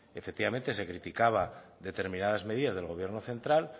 efectivamente se criticaba determinadas medidas del gobierno central